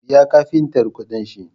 Biya kafintar kuɗin shi